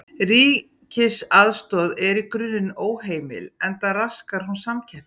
Ríkisaðstoð er í grunninn óheimil enda raskar hún samkeppni.